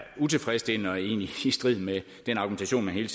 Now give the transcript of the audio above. utilfredsstillende og egentlig i strid med den argumentation man hele